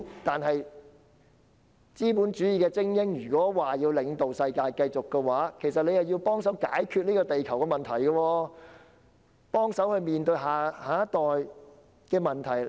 如果資本主義的精英要領導世界繼續發展，便必須幫忙解決地球和下一代面對的問題。